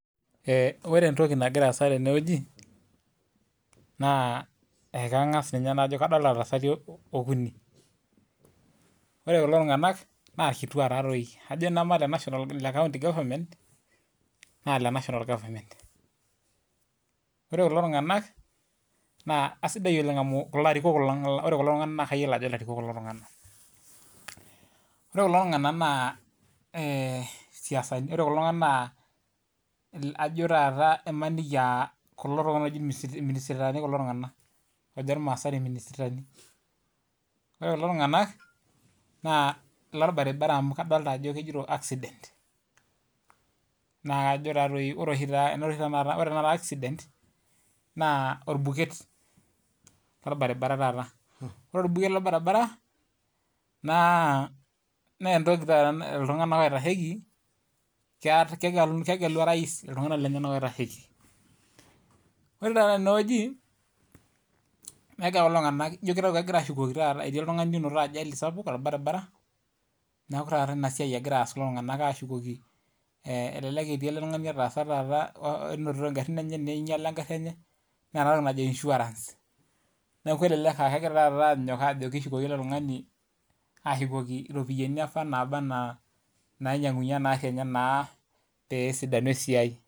Ore entoki nagira aasa teneweji, naa ekangas ninye najo kadolita iltasati okuni. Ore kulo tunganak naa kituak taadoi ,kajo tenemee le county government, naa le national government. Ore kulo tunganak naa aisidai oleng amu larikok lang, ore kulo tunganak naa kayiolo ajo larikok kulo tunganak .Ore kulo tunganak imaniki aa kulo tunganak ooji irminisitani kulo tunganak oojo irmaasai irminisitani. Ore kulo tunganak naa lorbaribara amu kadolita ajo kigero accident, naa ore tenakata accident, naa orbuket lorbaribara taata. Ore orbuket lorbaribara naa mee ltunganak oitasheki, kegelu orais iltunganak lenyenak oitasheki .ore teneweji ijo kitayu etii oltungani onoto ajali sapuk torbaribara, elelek etii eletungani otaasa taata neinyala engari enye, naa enatoki najo insurance. Neeku elelek aa kegira anyok ajo kishukoki ele tungani ashukoki ropiyiani apa naaba anaa nainyangunyie enari enye naa pee esidanu esiai.